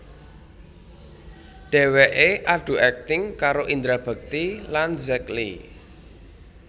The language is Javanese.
Dheweké adu akting karo Indra Bekti lan Zack Lee